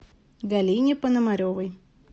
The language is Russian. галине пономаревой